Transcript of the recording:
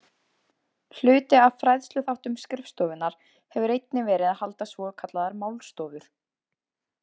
Hluti af fræðsluþáttum skrifstofunnar hefur einnig verið að halda svokallaðar málstofur.